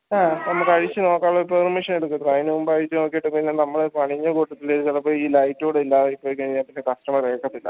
ആഹ് നമക്ക് അഴിച്ച് നോക്കാനുള്ള permission എടുക്കണം അയിന് മുമ്പ് അഴിച്ച് നോക്കീട്ട് പിന്നെ നമ്മളെ പണിന്റെ കൂട്ടത്തിൽ ചെലപ്പോ ഈ light ഊട ഇല്ലാതായി പോയ് കഴിഞ്ഞാൽ പിന്നെ customer ഏക്കത്തില്ല